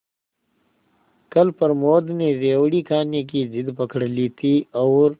कल प्रमोद ने रेवड़ी खाने की जिद पकड ली थी और